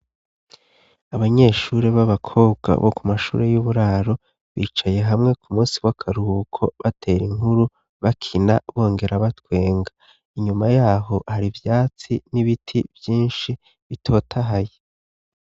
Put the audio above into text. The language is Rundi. Abanyeshuri b'abakobwa bo ku mashuri y'uburaro bicaye hamwe ku munsi w'akaruhuko, batera inkuru bakina bongera batwenga. Inyuma yaho hari ivyatsi n'ibiti vyinshi bitotahaye.